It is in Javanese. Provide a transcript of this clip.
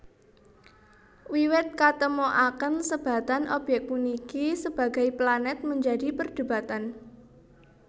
Wiwit katemoaken sebatan obyék puniki sebagai planet menjadi perdebatan